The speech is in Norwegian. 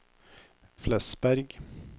Flesberg